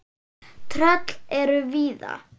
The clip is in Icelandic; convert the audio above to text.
Tröll eru víða.